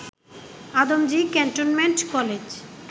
Adamjee cantonment college